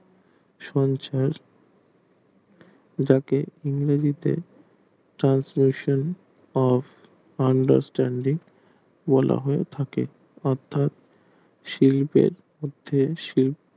সঞ্চার তাকে ইংরেজিতে translation of understanding বলা হয়ে থাকে অর্থাৎ শিল্পের মধ্যে শিল্প